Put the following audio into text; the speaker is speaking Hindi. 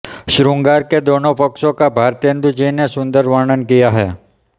शृंगार के दोनों पक्षों का भारतेंदु जी ने सुंदर वर्णन किया है